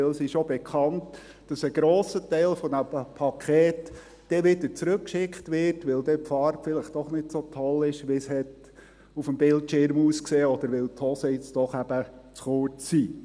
Denn es ist ja bekannt, dass ein grosser Teil dieser Pakete wieder zurückgeschickt wird, weil die Farbe dann doch nicht so toll ist, wie sie auf dem Bildschirm ausgesehen hat, oder weil die Hosen nun eben doch zu kurz sind.